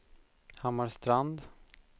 Hammarstrand